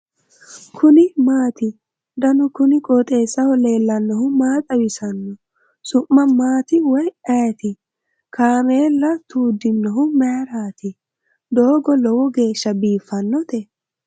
kuni maati ? danu kuni qooxeessaho leellannohu maa xawisanno su'mu maati woy ayeti ? kaameela tuuddinohu mayrati dogo lowo geeshsha biiffannote ?